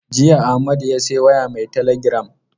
Jiya Amadu ya sayi waya mai teligiram.